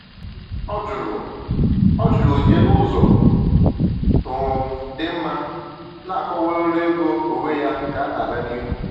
Ọ jụrụ Ọ jụrụ onyinye n’ụzọ um dị mma, na-akọwa ọrụ ego onwe ya ka na-aga n’ihu.